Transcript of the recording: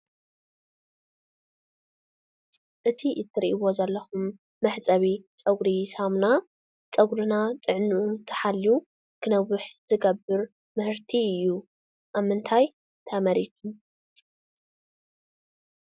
እቲ ትርእይዎ ዘለኩም መሕፀቢ ፀጉሪ ሳሙና ፀጉርና ጥዕንኡ ተሓልዩ ክነውሕ ዝገብር ምህርቲ እዩ። ኣብ ምንታይ ተመሪቱ?